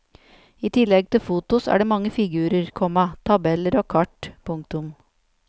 I tillegg til fotos er det mange figurer, komma tabeller og kart. punktum